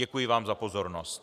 Děkuji vám za pozornost.